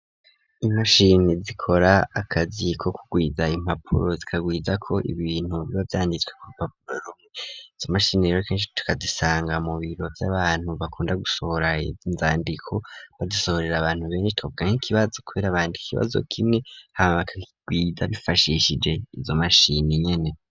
Imashini zikora akazi ko kugwiza impapuro zikagwiza ko ibintu biba vyanditswe kurupapuro izo mashini rkens tukazisanga mu biro by'abantu bakunda gusohora inzandiko badusohorera abantu bense tobkank'ikibazo kubera abandi kikibazo kimwe haakgwida bifashishije izo mashini nyene